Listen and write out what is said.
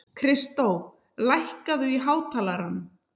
Kristó, lækkaðu í hátalaranum.